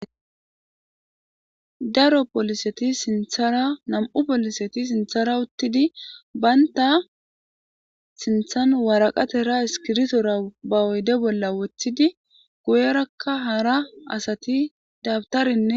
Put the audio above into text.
daro polseti sinthara nam'u poliseti sinthara uttidi banta sinthan waraqatera iskiritora ba oyde bolla woththidi guyerakka hara asati dabtarine